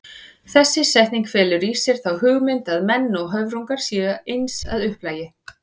Þessi setning felur í sér þá hugmynd að menn og höfrungar séu eins að upplagi.